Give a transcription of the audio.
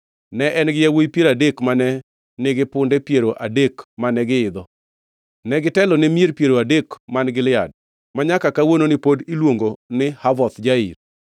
Ne en-gi yawuowi piero adek mane nigi punde piero adek mane giidho. Negitelone mier piero adek man Gilead, manyaka kawuononi pod iluongo ni Havoth Jair.